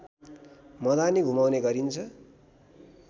मदानी घुमाउने गरिन्छ